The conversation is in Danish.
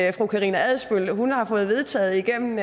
er fru karina adsbøl har fået vedtaget igennem